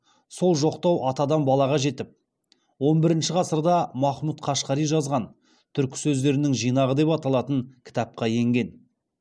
сол жоқтау атадан балаға жетіп он бірінші ғасырда махмұт қашқари жазған түркі сөздерінің жинағы деп аталатын кітапқа енген